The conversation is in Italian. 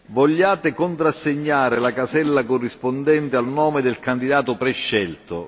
Vogliate contrassegnare la casella corrispondente al nome del candidato prescelto.